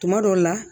Tuma dɔw la